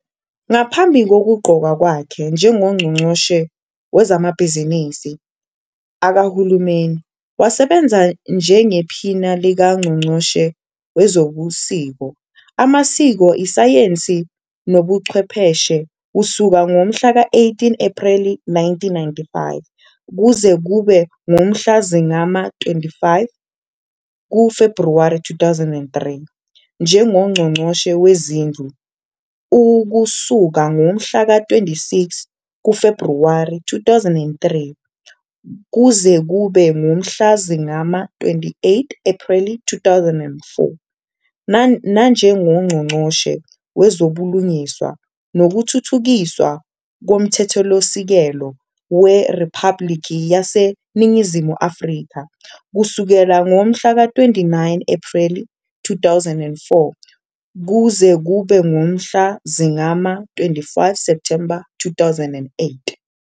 Ngaphambi kokuqokwa kwakhe njengoNgqongqoshe Wezamabhizinisi Kahulumeni, wasebenza njengePhini likaNgqongqoshe Wezobuciko, Amasiko, Isayensi Nobuchwepheshe kusuka ngomhlaka 18 Ephreli 1995 kuze kube ngumhla zingama-25 kuFebhuwari 2003, NjengoNgqongqoshe Wezindlu ukusuka ngomhlaka 26 kuFebhuwari 2003 kuze kube ngumhla zingama-28 Ephreli 2004 nanjengoNgqongqoshe Wezobulungiswa Nokuthuthukiswa Komthethosisekelo weRiphabhlikhi yaseNingizimu Afrika kusukela ngomhlaka 29 Ephreli 2004 kuze kube ngumhla zingama-25 Septhemba 2008.